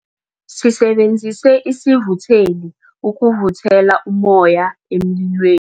Sisebenzise isivutheli ukuvuthela ummoya emlilwe